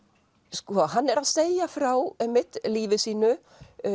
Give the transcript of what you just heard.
sko hann er að segja frá einmitt lífi sínu